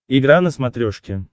игра на смотрешке